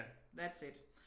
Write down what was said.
That's it